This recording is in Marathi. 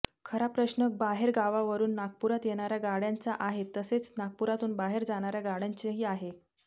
खरा प्रश्न बाहेरगावावरून नागपुरात येणाऱ्या गाड्यांचा आहे तसेच नागपुरातून बाहेर जाणाऱ्या गाड्यांचाही आहे